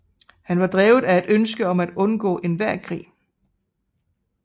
Han var drevet af et ønske om at undgå enhver krig